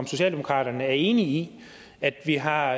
om socialdemokraterne er enige i at vi har